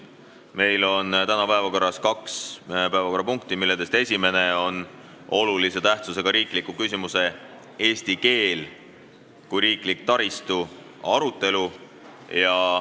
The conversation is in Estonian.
Meil on täna päevakorras kaks punkti, millest esimene on olulise tähtsusega riikliku küsimuse "Eesti keel kui riiklik taristu" arutelu.